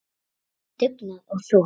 Sýna dugnað og þor.